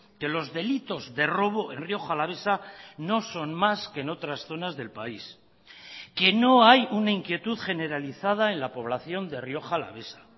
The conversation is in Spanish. que los delitos de robo en rioja alavesa no son más que en otras zonas del país que no hay una inquietud generalizada en la población de rioja alavesa